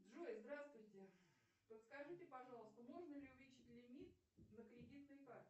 джой здравствуйте подскажите пожалуйста можно ли увеличить лимит на кредитной карте